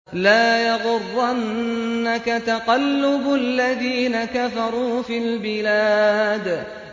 لَا يَغُرَّنَّكَ تَقَلُّبُ الَّذِينَ كَفَرُوا فِي الْبِلَادِ